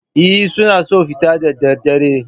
Eh, suna so a fita da daddare